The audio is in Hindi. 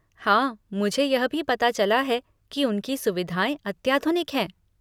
हाँ, मुझे यह भी पता चला है कि उनकी सुविधाएँ अत्याधुनिक हैं।